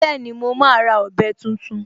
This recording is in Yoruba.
Bẹ́ẹ̀ni, mo máa ra ọ̀bẹ tuntun